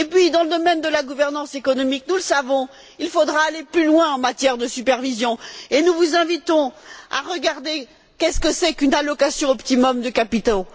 Dans le domaine de la gouvernance économique, nous le savons, il faudra aller plus loin en matière de supervision, et nous vous invitons à regarder ce qu'est une allocation optimum de capitaux.